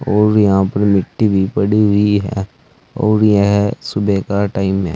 और यहां पर मिट्टी भी पड़ी हुई है और यह सुबह का टाइम हैं।